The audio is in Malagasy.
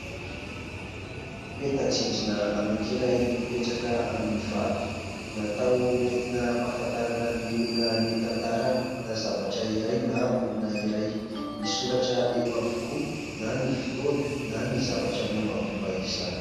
Peta-drindrina anankiray mipetraka amin'ny vato. Natao hentina ampafantarina ny olona ny tantarany na zavatra iray na olona iray. Misoratra eo avokoa na ny fotoana na ny zavatra mombamomba izany.